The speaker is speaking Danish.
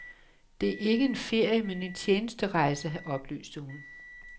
Det er ikke en ferie, men en tjenesterejse, oplyste hun.